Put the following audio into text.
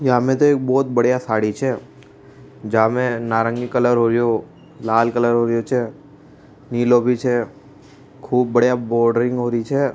यहाँ मे तो एक बहुत बढ़िया साडी छे जा मे नारंगी कलर हाेरो छे निलो भी छे और खूब बढ़िया बोडरिंग होरी छे।